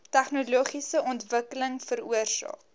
tegnologiese ontwikkeling veroorsaak